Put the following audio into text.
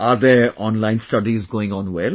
Are their online studies going on well